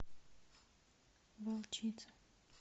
волчица